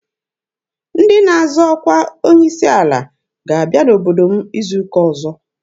Ndị na-azọ ọkwa onye isi ala ga-abịa n'obodo m izu ụka ọzọ.